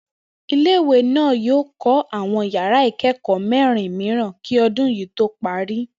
Ilé ìwé náà yóò kó̩ àwo̩n yàr̩á ìké̩kò̩ó̩ mé̩rin mìíràn kí o̩dún yìí tó parí